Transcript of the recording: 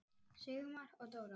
Sigmar og Dóra.